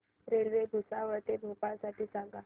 railway Bhusawal ते भोपाळ साठी सांगा